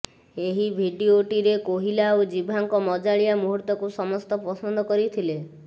ଏହି ଭିଡିଟିରେ କୋହିଲା ଓ ଜିଭାଙ୍କ ମଜାଳିଆ ମୁହୂର୍ତ୍ତକୁ ସମସ୍ତ ପସନ୍ଦ କରିଥିଲେ